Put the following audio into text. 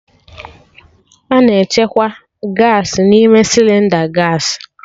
A na-echekwa Gaasị n'ime Sịlịnda gaasị